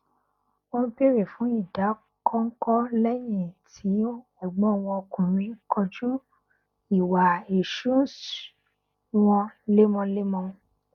wọn bèrè fún ìdàkọnkọ lẹyìn tí ẹgbọn wọn ọkùnrin kojú ìwà ìṣúnṣ wọn lemọlemọ